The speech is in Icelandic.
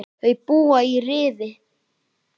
Þau búa í Rifi.